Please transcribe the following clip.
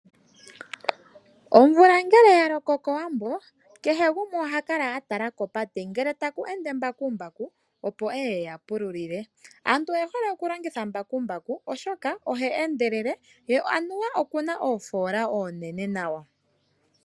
Omvula ngele ya loko kowambo, kehe gumwe oha kala a tala kopate ngele taku ende mbakumbaku, opo eye eya pululile. Aantu oye hole okulongitha mbakumbaku oshoka oha endelele ye anuwa oku na oofola oonene nawa